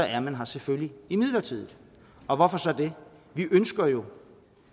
er man her selvfølgelig midlertidigt og hvorfor så det vi ønsker jo